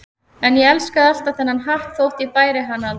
En ég elskaði alltaf þennan hatt þótt ég bæri hann aldrei.